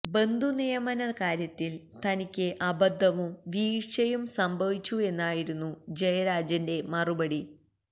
ബന്ധുനിയമന കാര്യത്തില് തനിക്ക് അബദ്ധവും വീഴ്ചയും സംഭവിച്ചുവെന്നായിരുന്നു ജയരാജന്റെ മറുപടി